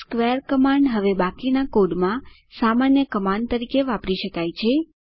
square command હવે બાકીના કોડમાં સામાન્ય કમાન્ડ તરીકે વાપરી શકાય છે